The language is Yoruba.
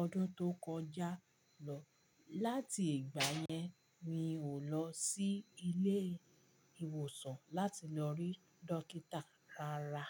ọdún tó kọjá lọ. Láti ìgbà yẹn mi ò lọ sí ilé ìwòsàn láti lọ rí dókítà rárá.